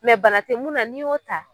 bana tɛ mun na n'i y'o ta